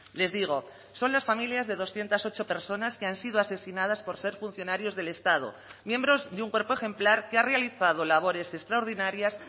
les digo son las familias de doscientos ocho personas que han sido asesinadas por ser funcionarios del estado miembros de un cuerpo ejemplar que ha realizado labores extraordinarias